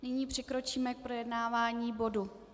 Nyní přikročíme k projednávání bodu